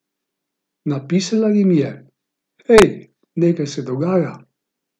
Napisala jim je: 'Hej, nekaj se dogaja.